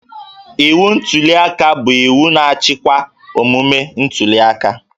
Iwu ntuliaka bụ iwu na-achịkwa omume ntuliaka